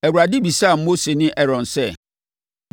Awurade bisaa Mose ne Aaron sɛ,